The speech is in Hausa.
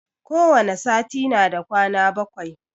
Kowane sati na da kwana bakwai.